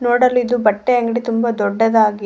ರೋಡ್ಲ್ಲಿದ್ದು ಇದು ಬಟ್ಟೆ ಅಂಗಡಿ ತುಂಬಾ ದೊಡ್ಡದಾಗಿ--